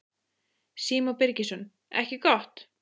Símon Birgisson: Ekki gott?